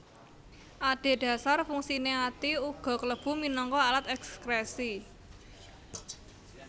Adhedhasar fungsiné ati uga klebu minangka alat èkskrèsi